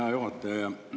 Hea juhataja!